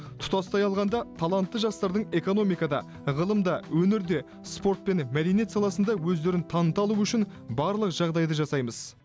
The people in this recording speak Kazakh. тұтастай алғанда талантты жастардың экономикада ғылымда өнерде спорт пен мәдениет саласында өздерін таныта алуы үшін барлық жағдайды жасаймыз